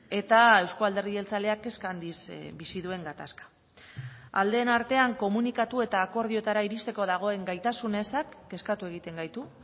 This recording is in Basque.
eta euzko alderdi jeltzaleak kezka handiz bizi duen gatazka aldeen artean komunikatu eta akordioetara iristeko dagoen gaitasun ezak kezkatu egiten gaitu